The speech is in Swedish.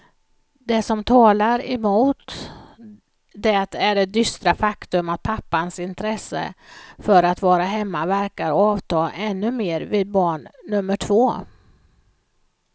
Det som talar emot det är det dystra faktum att pappans intresse för att vara hemma verkar avta ännu mer vid barn nummer två.